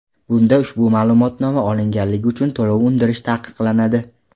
Bunda ushbu ma’lumotnoma olinganligi uchun to‘lov undirish taqiqlanadi.